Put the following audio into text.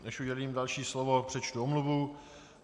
Než udělím další slovo, přečtu omluvu.